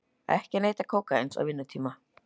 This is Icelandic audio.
Ekki neyta kókaíns á vinnutíma